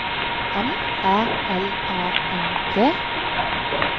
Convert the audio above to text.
M Æ L A N D